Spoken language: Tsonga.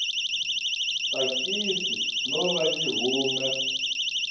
tsakisi no va yi hume